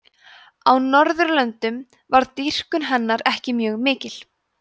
á norðurlöndum varð dýrkun hennar ekki mjög mikil